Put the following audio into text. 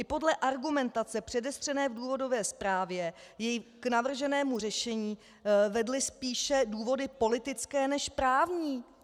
I podle argumentace předestřené v důvodové zprávě ji k navrženému řešení vedly spíše důvody politické než právní.